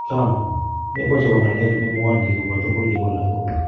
Trump: Mebo chebo ng�alek ne mwani kobo tugul kibo lagok.